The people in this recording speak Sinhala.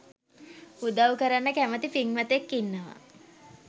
උදව් කරන්න කැමති පින්වතෙක් ඉන්නවා